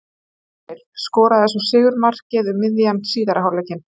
Emil skoraði svo sigurmarkið um miðjan síðari hálfleikinn.